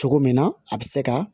Cogo min na a bɛ se ka